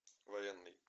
военный